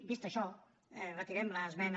vist això retirem l’esmena